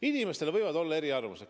Inimestel võivad olla eri arvamused.